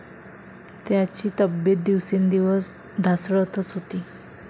त्यांची तब्येत दिवसेंदिवस ढासळतच होती.